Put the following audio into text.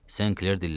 St. Kler dilləndi.